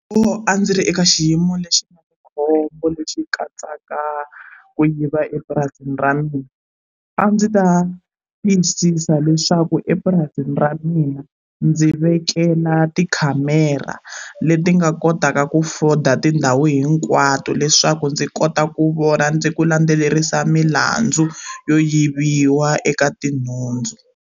Loko a ndzi ri eka xiyimo lexi na khombo lexi katsaka ku yiva epurasini ra mina a ndzi ta tiyisisa leswaku epurasini ra mina ndzi vekela tikhamera leti nga kotaka ku foda tindhawu hinkwato leswaku ndzi kota ku vona ni ku landzelerisa milandzu yo yiviwa eka tinhundzu.